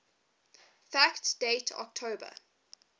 fact date october